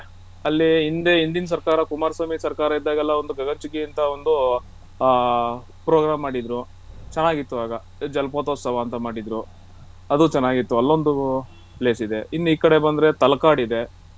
ಅಲ್ಲಿ ಹಿಂದೆ ಹಿಂದಿನ ಸರ್ಕಾರ ಕುಮಾರಸ್ವಾಮಿ ಸರ್ಕಾರ ಇದಾಗೆಲ್ಲ ಒಂದು ಗಗನಚುಕ್ಕಿ ಅಂತ ಒಂದು ಆ program ಮಾಡಿದ್ರು ಚೆನ್ನಾಗಿತ್ತು ಆಗ ಜಲಪತೋತ್ಸವ ಅಂತ ಮಾಡಿದ್ರು ಅದು ಚೆನ್ನಾಗಿತ್ತು ಅಲ್ಲೊಂದ್ place ಇದೆ ಇನ್ನೂ ಈ ಕಡೆ ಬಂದ್ರೆ ತಲಕಾಡು ಇದೆ.